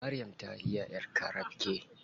Maryam ta iya ƴar carabke.